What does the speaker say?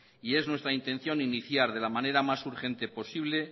y es nuestra intención iniciar de la manera más urgente posible